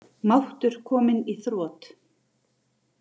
Máttur kominn í þrot